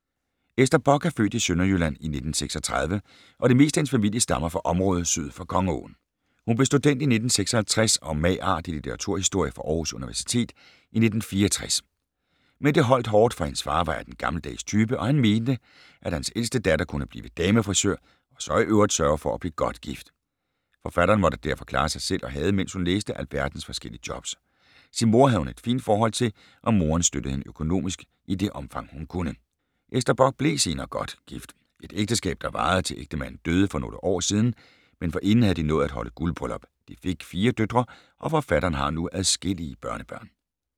Ester Bock er født i Sønderjylland i 1936, og det meste af hendes familie stammer fra området syd for Kongeåen. Hun blev student i 1956 og mag.art. i litteraturhistorie fra Århus Universitet i 1964. Men det holdt hårdt, for hendes far var af den gammeldags type, og han mente, at hans ældste datter kunne blive damefrisør og så i øvrigt sørge for at blive godt gift! Forfatteren måtte derfor klare sig selv og havde, mens hun læste, alverdens forskellige jobs. Sin mor havde hun et fint forhold til, og moren støttede hende økonomisk, i det omfang hun kunne. Ester Bock blev senere godt gift, et ægteskab der varede til ægtemanden døde for nogle år siden, men forinden havde de nået at holde guldbryllup. De fik fire døtre, og forfatteren har nu adskillige børnebørn.